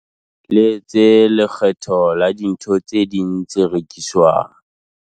Le tse lekgetho la dintho tse ding tse rekiswang.